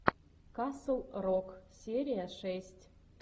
касл рок серия шесть